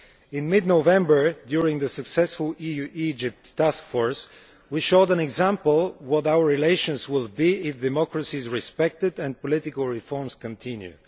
In mid November, during the successful EU Egypt task force, we showed an example of what our relations will be if democracies respect it and political reforms continue.